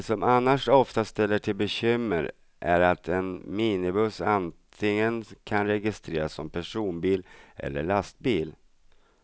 Det som annars ofta ställer till bekymmer är att en minibuss antingen kan registreras som personbil eller lastbil.